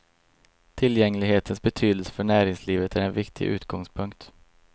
Tillgänglighetens betydelse för näringslivet är en viktig utgångspunkt.